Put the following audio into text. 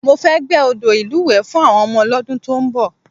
Mo fẹ́ gbẹ́ odò ìlúwẹ̀ẹ́ fún àwọn ọmọdé lọ́dún tó ń bọ̀